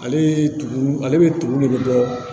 Ale ye tumu ale bɛ tumu de bɔ